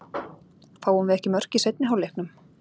Fáum við ekki mörk í seinni hálfleiknum?